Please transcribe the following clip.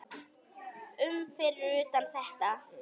um fyrir utan þetta.